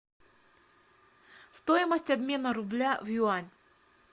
стоимость обмена рубля в юань